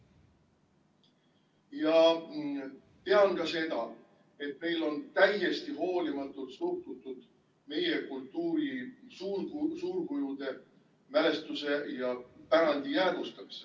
Ja tean ka seda, et meil on täiesti hoolimatult suhtutud meie kultuuri suurkujude mälestuse ja pärandi jäädvustamisse.